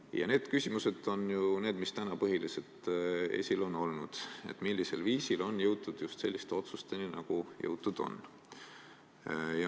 Ja täna on ju põhiliselt esil olnud need küsimused, millisel viisil on jõutud just selliste otsusteni, nagu on jõutud.